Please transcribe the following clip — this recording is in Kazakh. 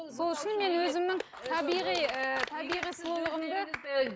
сол үшін мен өзімнің табиғи ы табиғи сұлулығымды ы